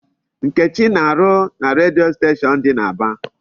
Nkechi na-arụ na redio station dị n'Aba.